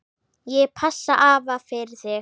Ég passa afa fyrir þig.